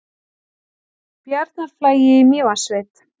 Bjarnarflagi í Mývatnssveit.